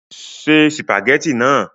Se sìpàgẹ́tì náà!